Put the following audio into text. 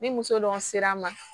Ni muso dɔn sira ma